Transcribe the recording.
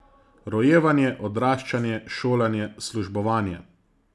Rojevanje, odraščanje, šolanje, službovanje ...